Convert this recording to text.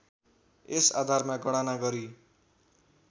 यस आधारमा गणना गरी